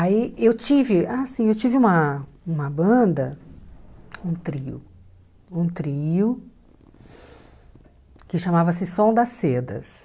Aí eu tive, assim, eu tive uma uma banda, um trio, um trio que chamava-se Som das Cedas.